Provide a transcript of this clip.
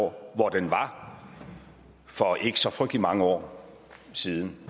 år hvor den var for ikke så frygtelig mange år siden